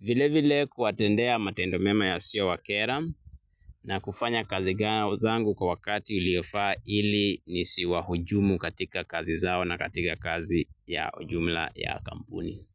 vile vile kuwatendea matendo mema yasiyo wakera na kufanya kazi zangu kwa wakati uliofaa ili nisiwahujumu katika kazi zao na katika kazi ya ujumla ya kampuni.